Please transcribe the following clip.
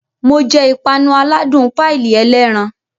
Mo jẹ ìpanu aládùn páìlì ẹlẹ́ran